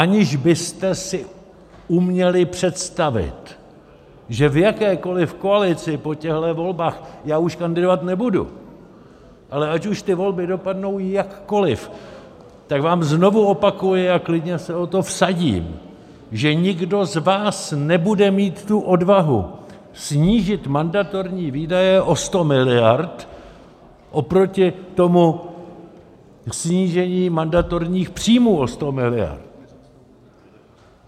Aniž byste si uměli představit, že v jakékoliv koalici po těchto volbách - já už kandidovat nebudu, ale ať už ty volby dopadnou jakkoliv, tak vám znovu opakuji a klidně se o to vsadím, že nikdo z vás nebude mít tu odvahu snížit mandatorní výdaje o 100 miliard oproti tomu snížení mandatorních příjmů o 100 miliard.